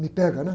Me pega, né?